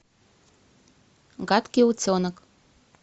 гадкий утенок